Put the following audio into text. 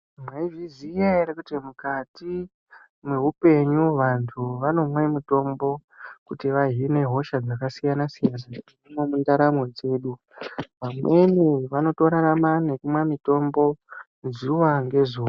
Mwaizviziya ere kuti mukati mweupenyu vantu vanomwe mutombo kuti vahine hosha dzakasiyana siyana mundaramo dzedu. Vamweni vanotorarama nekumwa mitombo zuwa ngezuwa.